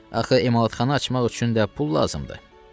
Axı emalatxana açmaq üçün də pul lazımdır.